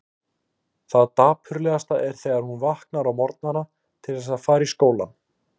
Það dapurlegasta er þegar hún vaknar á morgnana til þess að fara í skólann.